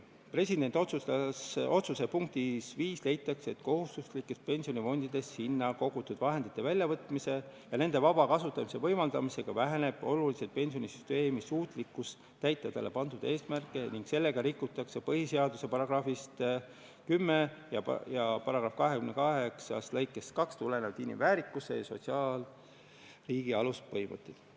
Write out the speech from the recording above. Presidendi otsuse punktis 5 leitakse, et kohustuslikest pensionifondidest sinna kogutud vahendite väljavõtmise ja nende vaba kasutamise võimaldamisega väheneb oluliselt pensionisüsteemi suutlikkus täita sellele pandud eesmärke ning nii rikutakse põhiseaduse §-st 10 ja § 22 lõikest 2 tulenevaid inimväärikuse ja sotsiaalriigi aluspõhimõtteid.